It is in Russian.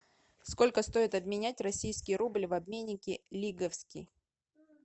сколько стоит обменять российский рубль в обменнике лиговский